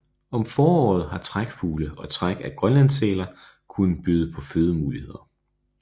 Om foråret har trækfugle og træk af grønlandssæler kunnet byde på fødemuligheder